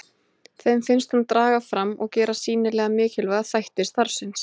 Þeim finnst hún draga fram og gera sýnilega mikilvæga þætti starfsins.